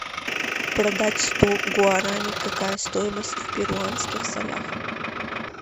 продать сто гуарани какая стоимость в перуанских солях